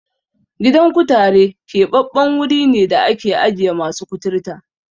Gidan kutare keɓaɓɓen wuri ne da ake ajiye masu kuturta.